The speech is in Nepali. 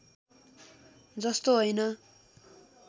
जस्तो हैन